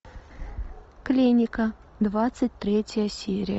клиника двадцать третья серия